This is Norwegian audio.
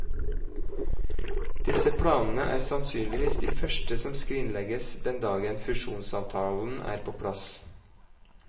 Disse planene er sannsynligvis de første som skrinlegges den dagen fusjonsavtalen er på plass.